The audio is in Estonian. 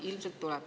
Ilmselt tuleb.